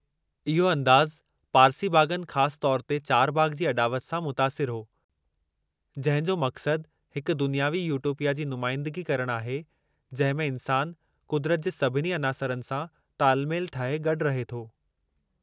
इहो अंदाज़ु पारसी बाग़नि ख़ासि तौरु ते चारबाग़ जी अॾावति सां मुतासिरु हो, जंहिं जो मक़्सदु हिकु दुनियावी यूटोपिया जी नुमाइंदिगी करणु आहे जंहिं में इन्सान कुदरत जे सभिनी अनासरनि सां तालमेलु ठाहे गॾु रहे थो।